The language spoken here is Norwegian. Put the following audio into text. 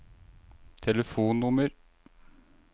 telefonnummer